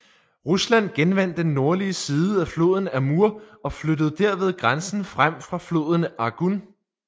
Rusland genvandt den nordlige siden af floden Amur og flyttede derved grænsen frem fra floden Argun